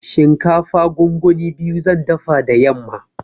Shinkafa gongoni biyu zan dafa da yamma.